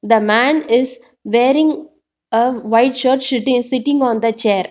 The man is wearing a white shirt shit sitting on the chair.